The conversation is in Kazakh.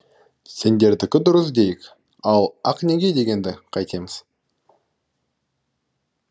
сендердікі дұрыс дейік ал ақ неке дегенді қайтеміз